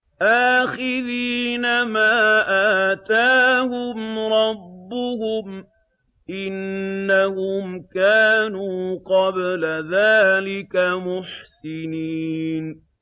آخِذِينَ مَا آتَاهُمْ رَبُّهُمْ ۚ إِنَّهُمْ كَانُوا قَبْلَ ذَٰلِكَ مُحْسِنِينَ